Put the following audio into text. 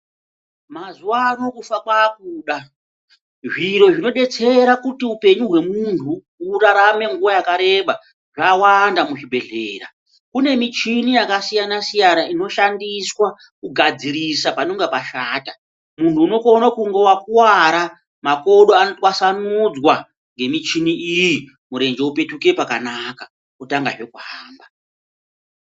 Mazuvano kufa kwakuda zviro zvinobetsera kuti upenyu hwemunhu urarame nguva yakareba zvawanda muzvibhedhlera, kune michini yakasiyana siyana inoshandiswa kugadzirisa panenge pashata munhu unokona kunge wakuwara makodo anotwaswanudzwa ngemichini iyi murenje wopetuke pakanaka wotangahe kuhamba.